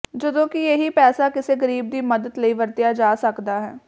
ਜਦੋਂ ਕਿ ਇਹੀ ਪੈਸਾ ਕਿਸੇ ਗਰੀਬ ਦੀ ਮਦਦ ਲਈ ਵਰਤਿਆ ਜਾ ਸਕਦਾ ਹੈ